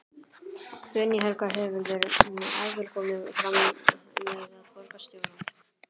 Guðný Helga: Hefurðu áður komið fram með borgarstjóra?